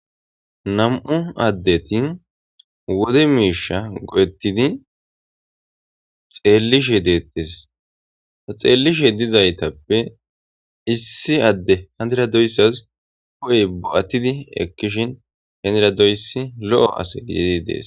Nam'u addeti wode miisha go'ettidi xeellishe deettes a xeellishe dizaytappe issi adde handiradoyssas koy ba'attidi ekkishin heneradoysi lo'o ase giei dees